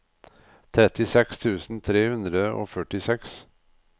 trettiseks tusen tre hundre og førtiseks